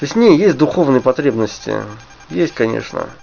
точнее есть духовные потребности есть конечно